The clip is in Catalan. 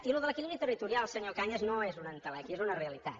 i això de l’equilibri territorial senyor cañas no és una entelèquia és una realitat